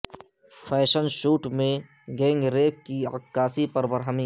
fashion shoot میں gang rape کی عکاسی پر برہمی